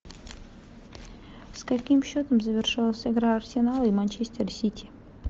с каким счетом завершилась игра арсенала и манчестер сити